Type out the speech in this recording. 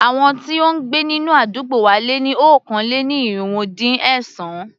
Àwọn tí ó ń gbé nínú àdúgbò wa lé ní okòó-lé-ní-irínwó-dín-ẹ̀sán.